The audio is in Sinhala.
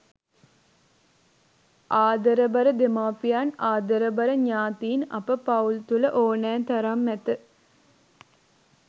ආදරබර දෙමාපියන් ආදරබර ඥාතීන් අප පවුල් තුළ ඕනෑ තරම් ඇත.